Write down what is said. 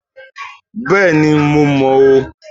Béèni mo mò ó